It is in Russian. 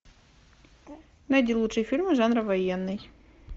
найди лучшие фильмы жанра военный